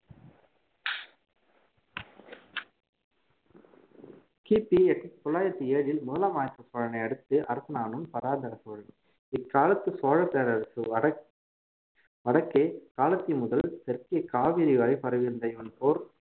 கிபி எட்டு தொள்ளாயிரத்தி ஏழில் முதலாம் ஆதித்த சோழனை அடுத்து அரசனானவன் பராந்தக சோழன் இக்காலத்து சோழ பேரரசு வடக்~ வடக்கே காளத்தி முதல் தெற்கே காவிரி வரை பரவி இருந்த இவன் போர்